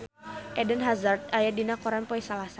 Eden Hazard aya dina koran poe Salasa